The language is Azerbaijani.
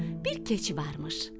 Bir keçi varmış.